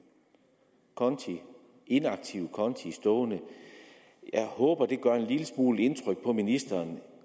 inaktive konti stående jeg håber det gør en lille smule indtryk på ministeren